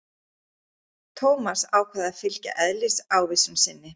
Thomas ákvað að fylgja eðlisávísun sinni.